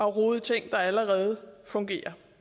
rode i ting der allerede fungerer